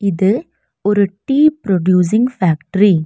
இது ஒரு tea producing factory .